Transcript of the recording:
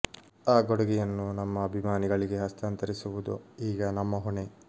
ಆ ಕೊಡುಗೆಯನ್ನು ನಮ್ಮ ಅಭಿಮಾನಿಗಳಿಗೆ ಹಸ್ತಾಂತರಿಸುವುದು ಈಗ ನಮ್ಮ ಹೊಣೆ